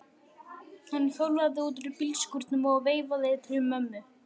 Hann hjólaði út úr bílskúrnum og veifaði til mömmu.